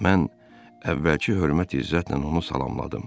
Mən əvvəlki hörmət-izzətlə onu salamladım.